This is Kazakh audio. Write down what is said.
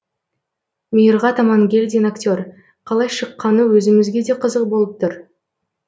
мейірғат амангелдин актер қалай шыққаны өзімізге де қызық болып тұр